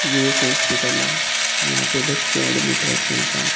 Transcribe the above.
ये एक हॉस्पिटल है यहां पे बच्चे एडमिट हैं छह सात।